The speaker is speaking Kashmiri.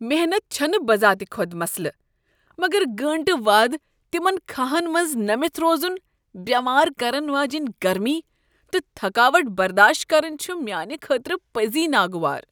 محنت چھ نہٕ بذات خود مسلہٕ، مگر گٲنٹہٕ واد تِمن كھاہن منٛز نٔمِتھ روزُن، بیمار كرن واجیٚنۍ گرمی تہٕ تھکاوٹ برداشت کرٕنۍ چھُ میانہِ خٲطرٕ پٔزی ناگوار۔